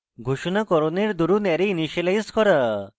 ঘোষণাকরণের দরুন array initialize করা